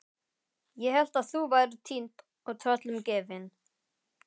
Ég hélt að þú værir týnd og tröllum gefin.